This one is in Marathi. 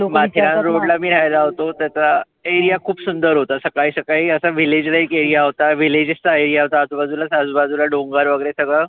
माथेरान road ला मी रहायला होतो. त्याचा area खुप सुंदर होता. सकाळी सकाळी असं village like area होता. villages चा area होता. आजुबाजु अजुबाजुला असं डोंगर वगैरे सगळं.